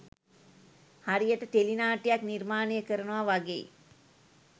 හරියට ටෙලි නාට්‍යයක් නිර්මාණය කරනවා වගෙයි